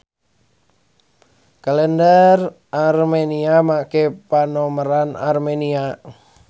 Kalender Armenia make panomeran Armenia.